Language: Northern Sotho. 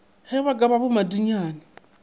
ge ba ka ba bommathinyane